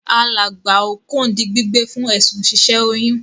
Alàgbà Okon di gbígbé fún èsùn si sẹ oyún